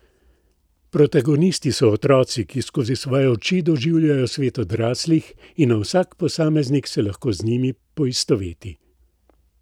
Protagonisti so otroci, ki skozi svoje oči doživljajo svet odraslih, in vsak posameznik se lahko z njimi poistoveti.